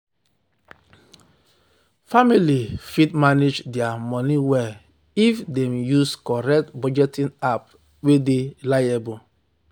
family fit manage their money well if dem use correct budgeting app wey dey reliable.